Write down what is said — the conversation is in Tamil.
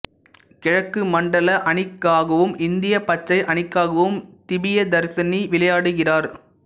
கிழக்கு மண்டல அணிக்காவும் இந்திய பச்சை அணிக்காவும் திபியதர்சினி விளையாடுகிறார்